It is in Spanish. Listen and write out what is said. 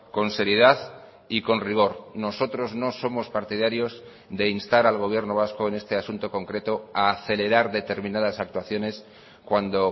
con seriedad y con rigor nosotros no somos partidarios de instar al gobierno vasco en este asunto concreto a acelerar determinadas actuaciones cuando